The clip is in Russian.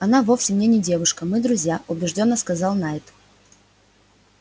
она вовсе мне не девушка мы друзья убеждённо сказал найд